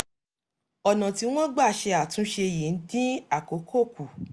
ọ̀nà tí wọ́n gbà ṣe àtúnṣe yìí ń dín àkókò kù